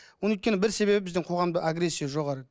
оның өйткені бір себебі біздің қоғамда агрессия жоғары